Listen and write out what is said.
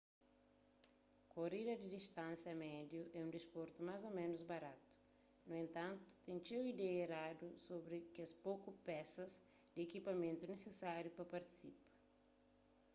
korida di distánsia médiu é un disportu más ô ménus baratu nu entantu ten txeu ideia eradu sobri kes poku pesas di ekipamentus nisisáriu pa partisipa